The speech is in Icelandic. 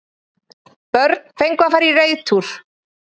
Börn fengu að fara í reiðtúr